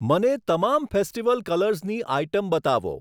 મને તમામ ફેસ્ટિવલ કલર્સની આઇટમ બતાવો.